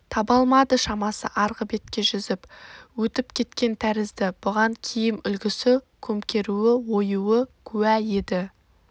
таба алмады шамасы арғы бетке жүзіп өтіп кеткен тәрізді бұған киім үлгісі көмкеруі оюы куә еді